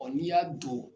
n'i y'a don